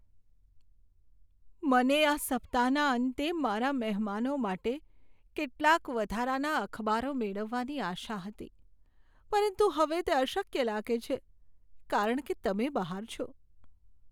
મને આ સપ્તાહના અંતે મારા મહેમાનો માટે કેટલાક વધારાના અખબારો મેળવવાની આશા હતી, પરંતુ હવે તે અશક્ય લાગે છે કારણ કે તમે બહાર છો.